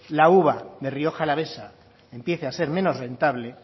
la uva de rioja alavesa empiece a ser menos rentable